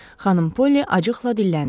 Xanım Polly acıqla dilləndi: